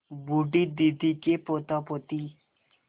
बूढ़ी दादी के पोतापोती